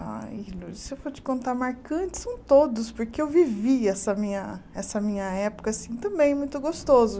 Ai, se eu for te contar, marcantes são todos, porque eu vivi essa minha essa minha época assim também, muito gostoso.